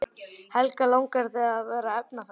Helga: Langar þig að verða efnafræðingur?